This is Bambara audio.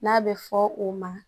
N'a bɛ fɔ o ma